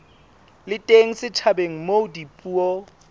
le teng setjhabeng moo dipuo